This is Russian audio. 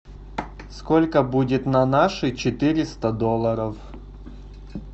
сколько будет на наши четыреста долларов